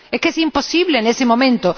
¡Es que es imposible en este momento!